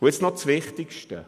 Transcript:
Nun das Wichtigste: